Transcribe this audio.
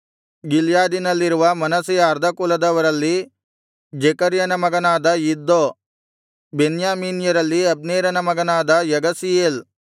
ಗಿಲ್ಯಾದಿನಲ್ಲಿರುವ ಮನಸ್ಸೆಯ ಅರ್ಧ ಕುಲದವರಲ್ಲಿ ಜೆಕರ್ಯಯನ ಮಗನಾದ ಇದ್ದೋ ಬೆನ್ಯಾಮೀನ್ಯರಲ್ಲಿ ಅಬ್ನೇರನ ಮಗನಾದ ಯಗಸೀಯೇಲ್